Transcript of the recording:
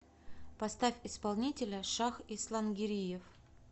поставь исполнителя шах ислангириев